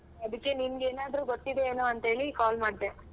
ಅದಿಕ್ಕೆ ನಿನ್ಗೆ ಏನಾದ್ರು ಗೊತ್ತಿದೆನೋ ಅಂತೇಳಿ call ಮಾಡ್ದೆ